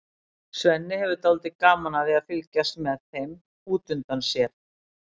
Svenni hefur dálítið gaman af því að fylgjast með þeim út undan sér.